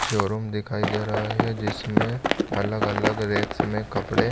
showroom दिखाई दे रहा है जिसमे अलग-अलग रेक्स में कपड़े--